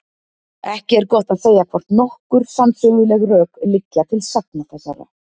Ekki er gott að segja, hvort nokkur sannsöguleg rök liggja til sagna þessara.